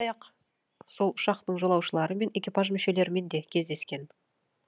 сондай ақ сол ұшақтың жолаушылары мен экипаж мүшелерімен де кездескен